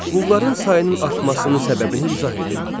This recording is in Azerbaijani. Qulların sayının artmasının səbəbini izah edin.